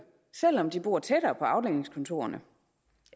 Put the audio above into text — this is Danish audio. selv om de bor tættere på afdelingskontorerne